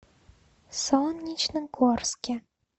солнечногорске